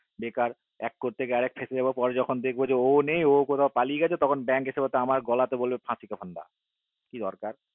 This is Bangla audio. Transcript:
বেকার এক করতে গিয়ে আরেক ফেঁসে যাবো পারে দেখবো যে ওয় নেই ওয় কোথায় পালিয়ে গেছে তখন bank এসে বলবে ফাঁসিকে ফান্ডা কি দরকার